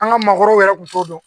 An ka maakɔrɔw yɛrɛ kun t'o dɔn